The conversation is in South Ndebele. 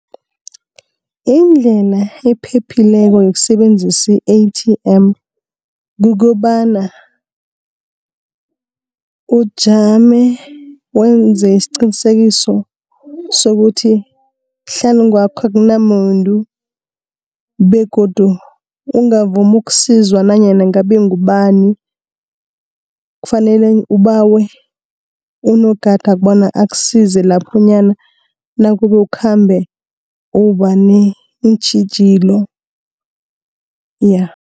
Indlela ephephileko yokusebenzisa i-A_T_M kukobana ujame, wenze isiqinisekiso sokuthi hlanu kwakho akunamuntu, begodu ungavumi ukusizwa nanyana ngabe ngubani. Kufanele ubawe unogada bona akusize laphonyana nakube ukhambe uba neentjhijilo ja.